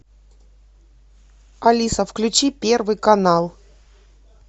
алиса включи первый канал